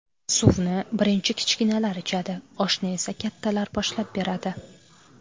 Suvni birinchi kichkinalar ichadi, oshni esa kattalar boshlab beradi.